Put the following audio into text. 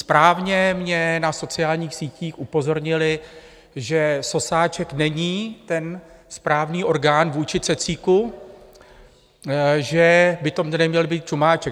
Správně mě na sociálních sítích upozornili, že sosáček není ten správný orgán vůči cecíku, že by to měl být čumáček.